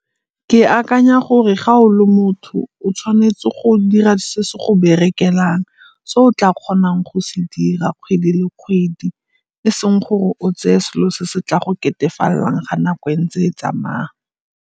Ke akanya gore ga o le motho o tshwanetse go dira se se go berekelang, se o tla kgonang go se dira kgwedi le kgwedi e seng gore o tseye selo se se tla go ketefalelang ga nako e ntse e tsamaya.